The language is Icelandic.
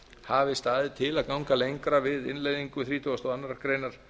hafi staðið til að ganga lengra við innleiðingu þrítugasta og aðra grein